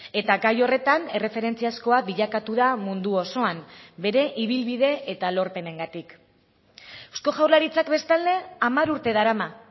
eta gai horretan erreferentziazkoa bilakatu da mundu osoan bere ibilbide eta lorpenengatik eusko jaurlaritzak bestalde hamar urte darama